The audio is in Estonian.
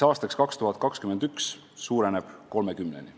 Aastaks 2021 suureneb see arv 30-ni.